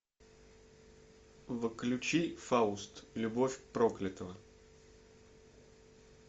включи фауст любовь проклятого